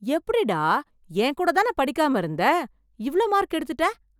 எப்படிடா என் கூட தான படிக்காம இருக்க, இவ்ளோ மார்க் எடுத்துட்ட